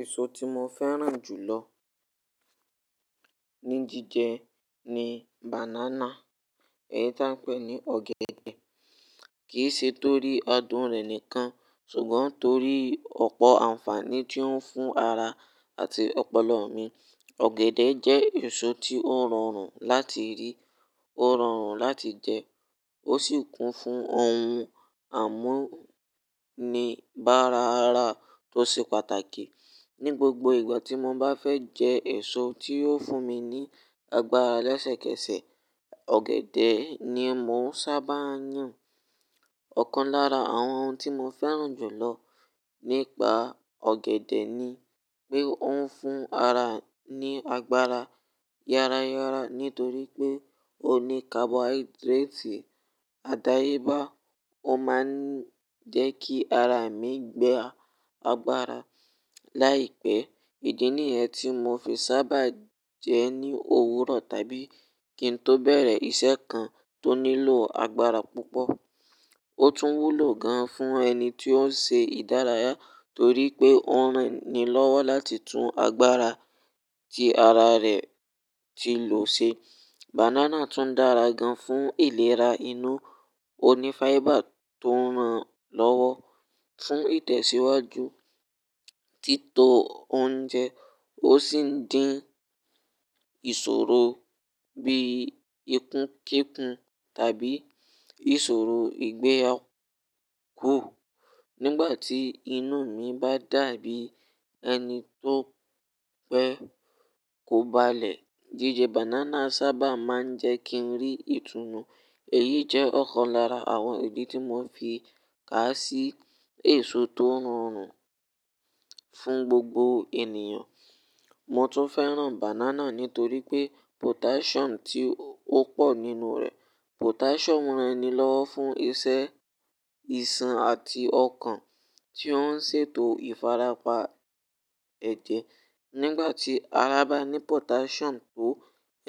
Èso tí mo fẹ́ràn jù lọ ní jíjẹ ni banana, èyí tí a ń pè ní ọ̀gẹ̀dẹ̀. Kì í ṣe torí adùn rẹ̀ nìkan, ṣùgbọ́n torí ọ̀pọ̀ ànfàní tí ó ń fún ara àti ọpọlọ mi. Ọ̀gẹ̀dẹ̀ jẹ́ èso tí ó rọrùn láti rí, ó rọrùn láti jẹ, ó sì kún fún ohun àmúni-bára ara tó ṣe pàtàkì. Ni gbogbo ìgbà tí mo bá fẹ́ jẹ èso tí yóò fún mi ní agbára lẹ́sẹ̀kẹsẹ̀, ọ̀gẹ̀dẹ̀ ni mo ń sábà yàn. Ọ̀kan lára àwọn ohun tí mo fẹ́ràn jù lọ nípa ọ̀gẹ̀dẹ̀ ni pé ó ń fún ara ní agbára yára yára nítorí pé ó ní carbohydrate àdáyébá. Ó máa ń jẹ́ kí ara mi gba agbára láìpẹ́. Ìdí nìyẹn tí mo fi sábà jẹ ẹ́ ní òwúrọ̀ tàbí kí n tó bẹ̀rẹ̀ iṣẹ́ kan tó nílò agbára púpọ̀. Ó tún wúlò gan fún ẹni tí ó ń ṣe ìdárayá torí pé ó ran ni lọ́wọ́ láti tún agbára tí ara rẹ̀ ti lò ṣe. Banana tún dára gan fún ìlera inú. Ó ní fibre tó ran lọ́wọ́ fún ìtẹ̀síwájú títọ́ oúnjẹ, ó sì ń dín ìṣòro bíi ikún kíkún tàbí ìṣòro ìgbéyàgò. Nígbà tí inú mi bá dàbí ẹni tó fẹ́ kóbalẹ̀, jíjẹ banana sábà máa ń jẹ́ kí n rí ìtùmo. Èyí jẹ́ ọ̀kan lára àwọn ìdí tí mo fi ká sí èso tó rọrùn fún gbogbo ènìyàn. Mo tún fẹ́ràn banana nítorí pé potassium tí ó pọ̀ nínú rẹ̀. Potassium ran ni lọ́wọ́ fún iṣẹ́ ìṣàn àti ọkàn tí ó ń ṣètò ìfarapa ẹ̀jẹ̀. Nígbà tí ara bá ní potassium tó,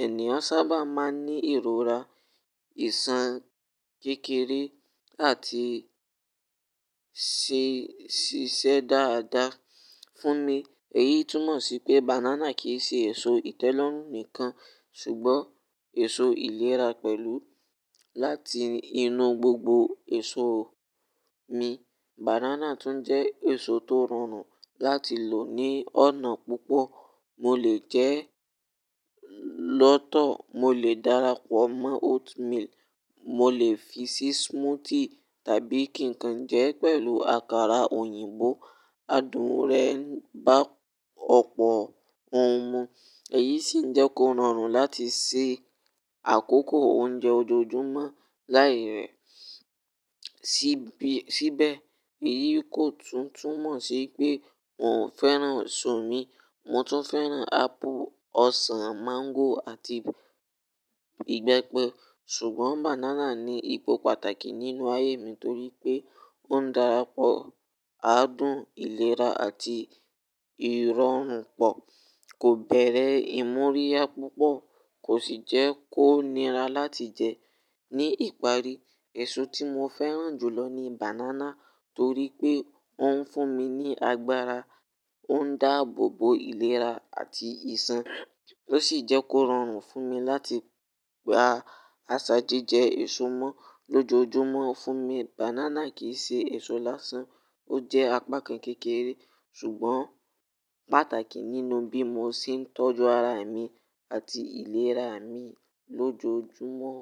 ènìyàn sábà máa ń ní ìrora ìṣàn kékeré àti ṣíṣe dáadáa. Fún mi, èyí túmọ̀ sí pé banana kì í ṣe èso ìtẹ́lọ́rùn nìkan, ṣùgbọ́n èso ìlera pẹ̀lú. Láti inú gbogbo èso mi, banana tún jẹ́ èso tó rọrùn láti lò ní ọ̀nà púpọ̀. Mo lè jẹ ẹ́ lọ́tọ̀, mo lè darapọ̀ mọ́ oatmeal, mo lè fi sí smoothie tàbí kí n kan jẹ́ pẹ̀lú àkàrà òyìnbó. Adùn rẹ̀ ń bá ọ̀pọ̀ ohun mu, èyí sì ń jẹ́ kó rọrùn láti ṣe àkókò oúnjẹ ojoojúmọ́ láì rẹ síbi síbẹ̀. Èyí kò tún túnmọ̀ sí pé n ò fẹ́ràn èso mi. Mo tún fẹ́ràn apple, ọsàn, mango àti ìgbẹ́pẹ. Ṣùgbọ́n banana ní ipò pàtàkì nínú ayé mi nítorí pé ó ń darapọ̀ adùn, ìlera àti ìrọ̀rùn pọ̀. Kò bẹ̀rẹ̀ ìmúríyá púpọ̀, kò sì jẹ́ kó nira láti jẹ. Ni ìparí, èso tí mo fẹ́ràn jù lọ ni banana torí pé ó ń fún mi ní agbára, ó ń dáàbòbò ìlera àti ìṣàn, ó sì jẹ́ kó rọrùn fún mi láti gba àṣà jíjẹ èso mọ́ lójoojúmọ́. Fún mi, banana kì í ṣe èso lásán, ó jẹ́ apakan kékeré ṣùgbọ́n pàtàkì nínú bí mo ṣe ń tọ́jú ara mi àti ìlera mi lójoojúmọ́.